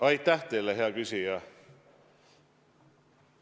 Aitäh teile, hea küsija!